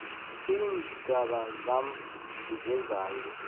iintjaba zam zezayo